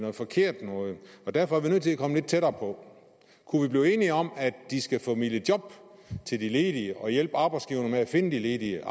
er forkert derfor er vi nødt til at komme lidt tættere på kunne vi blive enige om at de skal formidle job til de ledige og hjælpe arbejdsgiverne med at finde de ledige